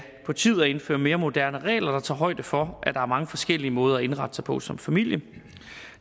på tide at indføre mere moderne regler der tager højde for at der er mange forskellige måder at indrette sig på som familie